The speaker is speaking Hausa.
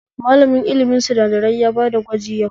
Malamin ilimin sinadarai ya bada gwaji yau